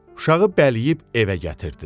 Uşağı bələyib evə gətirdilər.